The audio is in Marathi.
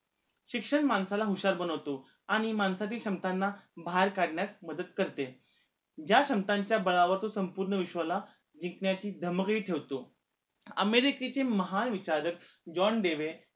शिक्षण माणसाला हुशार बनवतो आणि माणसातील क्षमतांना बाहेर काढण्यास मदत करते ज्या क्षमतांच्या बळावर संपूर्ण विश्वाला जिकंण्याची धमक ही ठेवतो अमेरिकेचे महान विचारक जॉन देवेन